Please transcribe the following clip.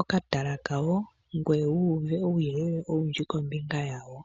okatala kawo ngoye wu uve uuyelele owundji kombinga yawo.